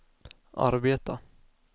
arbeta